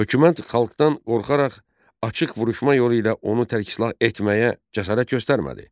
Hökumət xalqdan qorxaraq açıq vuruşma yolu ilə onu tərksilah etməyə cəsarət göstərmədi.